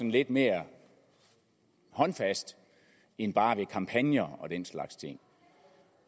lidt mere håndfast end bare ved kampagner og den slags ting